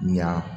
Ɲa